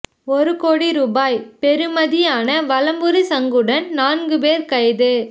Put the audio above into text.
ஒரு கோடி ரூபாய் பெறுமதியான வலம்புரி சங்குடன் நான்கு பேர் கைது